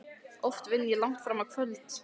Oft vinn ég langt fram á kvöld.